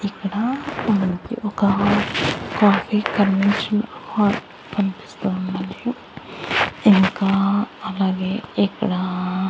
ఇక్కడ మనకి ఒక కాఫీ కన్వెన్షన్ హాల్ కనిపిస్తూ ఉంది అండి ఇంకా అలాగే ఇక్కడ --